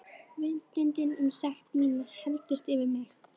Vitundin um sekt mína helltist yfir mig.